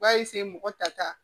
U b'a mɔgɔ ta ta